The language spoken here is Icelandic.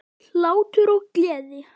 Hlátur og gleði.